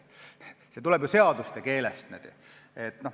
See tuleb ju seaduste keelest.